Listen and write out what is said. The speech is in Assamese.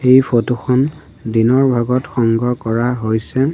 এই ফটো খন দিনৰ ভাগত সংগ্ৰহ কৰা হৈছে।